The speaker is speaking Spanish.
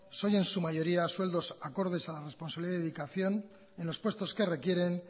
son en su mayoría sueldos acordes a la responsabilidad y dedicación en los puestos que requieren